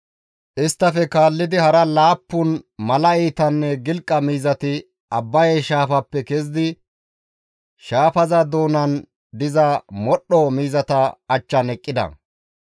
Isttafe kaallidi hara laappun mala iitanne gilqa miizati Abbaye shaafappe kezidi shaafaza doonan diza modhdho miizata achchan eqqida.